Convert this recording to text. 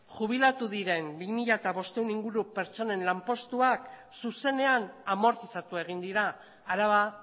jubilatu diren bi mila bostehun inguru pertsonen lanpostuak zuzenean amortizatu egin dira araba